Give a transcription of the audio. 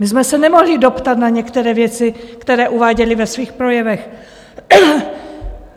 My jsme se nemohli doptat na některé věci, které uváděli ve svých projevech.